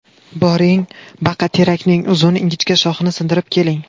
Boring, baqaterakning uzun, ingichka shoxini sindirib keling.